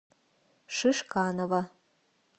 шишканова